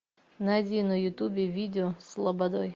найди на ютубе видео с лободой